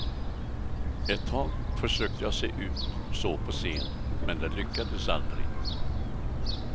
Ett tag försökte jag se ut så på scen, men det lyckades aldrig.